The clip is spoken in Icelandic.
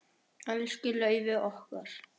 Elsku Laufey okkar.